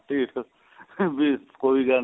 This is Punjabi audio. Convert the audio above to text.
ਢੀਠ ਵੀ ਕੋਈ ਗੱਲ ਨੀ